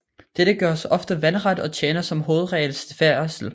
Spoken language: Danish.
Dette gøres ofte vandret og tjener som hovedregel til færdsel